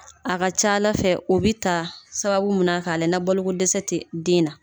A ka ca Ala fɛ o bi ta sababu min na k'a lajɛ ni baloko dɛsɛ ti den na.